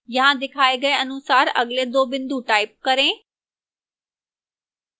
यहां दिखाई गए अनुसार अगले दो बिंदु type करें